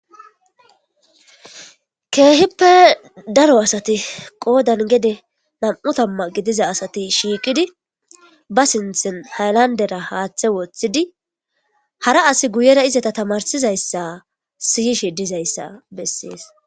keehippe daro asati qoodan gede nam7u tamma gidiza asati shiiqidi ba sinthen haylandera haaththe woththidi hara as guyera izata tamarsizayssa siyishe dizayssa bessees